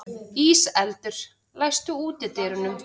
Íseldur, læstu útidyrunum.